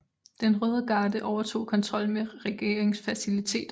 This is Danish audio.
Den Røde Garde overtog kontrollen med regeringsfaciliteterne